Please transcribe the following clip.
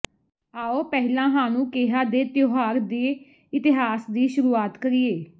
ਆਓ ਪਹਿਲਾਂ ਹਾਨੂਕੇਹਾ ਦੇ ਤਿਉਹਾਰ ਦੇ ਇਤਿਹਾਸ ਦੀ ਸ਼ੁਰੂਆਤ ਕਰੀਏ